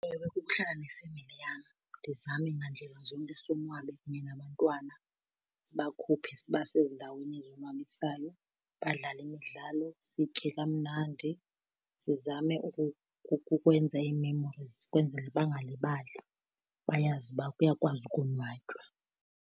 Ewe, kukuhlala nefemeli yam ndizame ngandlela zonke sonwabe kunye nabantwana. Sibakhuphe sibase ezindaweni ezonwabisayo, badlale imidlalo, sitye kamnandi. Sizame ukwenza ii-memories kwenzela bangalibali, bayazi uba kuyakwazi ukonwatywa.